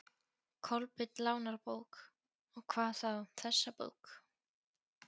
Kolbeinn lánar bók, og hvað þá þessa bók.